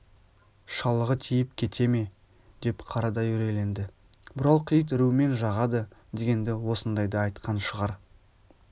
шалығы тиіп кете ме деп қарадай үрейленді бұралқы ит үруімен жағады дегенді осындайда айтқан шығар